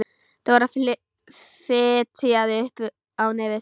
Dóra fitjaði upp á nefið.